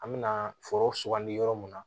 An me na foro sugandi yɔrɔ mun na